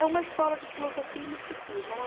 É uma escola de filosofia e misticismo. É uma